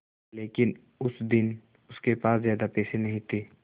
लेकिन उस दिन उसके पास ज्यादा पैसे नहीं थे